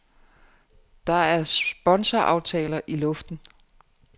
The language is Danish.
Der er sponsoraftaler i luften.